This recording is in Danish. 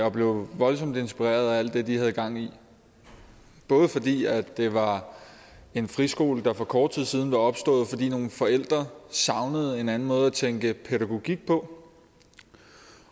og blev voldsomt inspireret af alt det de havde gang i både fordi det var en friskole der for kort tid siden var opstået fordi nogle forældre savnede en anden måde at tænke pædagogik på